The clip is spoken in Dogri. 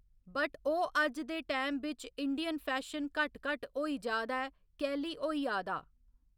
बट ओह् अज्ज दे टाइम बिच इंडियन फैशन घट्ट घट्ट होई जा दा ऐ कैह्‌ली होई आ दा